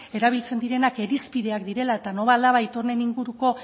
erabiltzen direnak irizpideak direla eta nolabait honen inguruko